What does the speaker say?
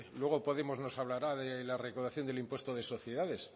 luego podemos nos hablará de la recaudación del impuesto de sociedades